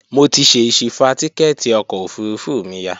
Mo ti ṣèṣi fa tíkẹ́ẹ̀tì ọkọ̀ òfurufú mi ya